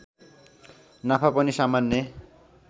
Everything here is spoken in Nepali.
नाफा पनि सामान्य